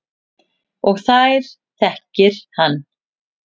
Og þær þekki hann.